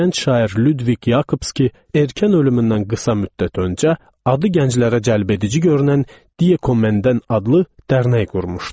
Gənc şair Lüdviq Yakobski, erkən ölümündən qısa müddət öncə, adı gənclərə cəlbedici görünən "Die Kommenden" adlı dərnək qurmuşdu.